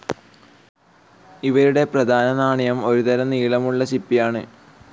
ഇവരുടെ പ്രധാന നാണയം ഒരുതരം നീളമുള്ള ചിപ്പിയാണ്.